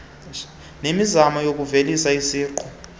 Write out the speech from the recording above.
nemizamo yokuvuselela isiqu